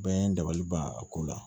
Bɛɛ n dabali ban a ko la